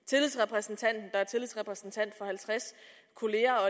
tillidsrepræsentanten der er tillidsrepræsentant for halvtreds kolleger og